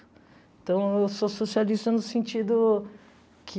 Então, eu sou socialista no sentido que...